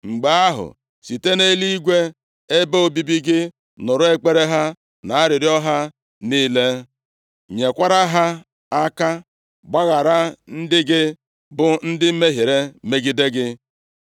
mgbe ahụ, site nʼeluigwe, ebe obibi gị, nụrụ ekpere ha na arịrịọ ha niile, nyekwara ha aka. Gbaghara ndị gị, bụ ndị mehiere megide gị.